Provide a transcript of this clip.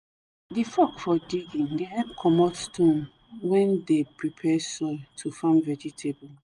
the fork for digging the help comot stone wen de prepare soil to farm vegetable